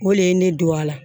O le ye ne don a la